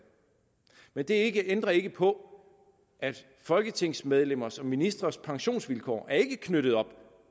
men det ændrer ikke på at folketingsmedlemmers og ministres pensionsvilkår ikke er knyttet op